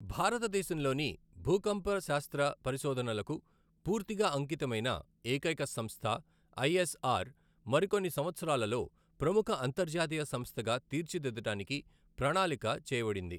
భారతదేశంలోని భూకంపశాస్త్ర పరిశోధనలకు పూర్తిగా అంకితమైన ఏకైక సంస్థ ఐఎస్ఆర్, మరికొన్ని సంవత్సరాలలో ప్రముఖ అంతర్జాతీయ సంస్థగా తీర్చి దిద్దడానికి ప్రణాళిక చేయబడింది.